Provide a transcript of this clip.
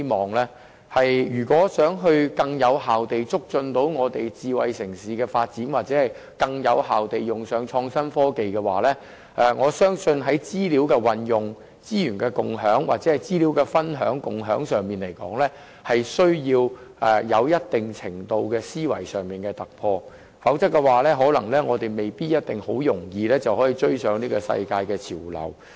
我相信如想更有效地促進智慧城市的發展或更有效地使用創新科技，在資料運用、資源共享或資料分享和共享方面的思維需要有一定程度的突破，否則我們未必可輕易追上世界潮流。